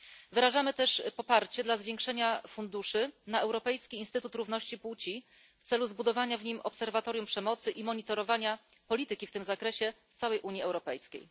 Wyrażamy też także poparcie dla zwiększenia funduszy na Europejski Instytut Równości Płci w celu zbudowania w nim obserwatorium przemocy i monitorowania polityki w tym zakresie w całej Unii Europejskiej.